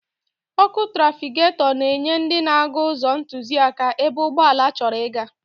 Ọ́kụ́ trafịketọ na-enye ndị na-aga ụzọ ntụziaka ebe ụgbọala chọrọ ịga.